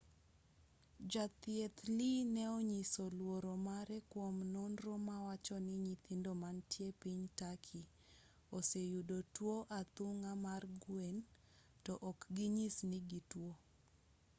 jathieth lee ne onyiso luoro mare kuom nonro mawacho ni nyithindo mantie piny turkey oseyudo tuo athung'a mar gwen to ok ginyis ni gituo